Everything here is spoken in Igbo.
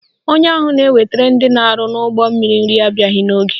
Onye ahụ na-ewetara ndị na-arụ n'ụgbọmmiri nri abịaghị n'oge.